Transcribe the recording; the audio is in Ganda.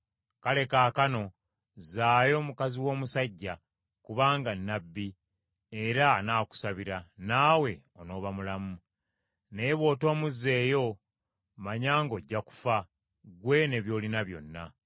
Kale kaakano zzaayo mukazi w’omusajja, kubanga nnabbi, era anaakusabira, nawe on’oba mulamu. Naye bw’otomuzzeeyo, manya ng’ojja kufa, ggwe ne by’olina byonna.”